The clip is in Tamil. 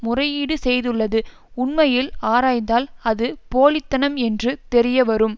முறையீடு செய்துள்ளது உண்மையில் ஆராய்ந்தால் அது போலி தனம் என்று தெரியவரும்